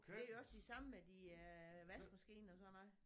Det er også det samme med din øh vaskemaskine og sådan noget